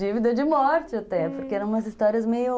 Dívida de morte até, porque eram umas histórias meio...